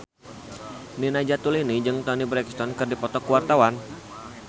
Nina Zatulini jeung Toni Brexton keur dipoto ku wartawan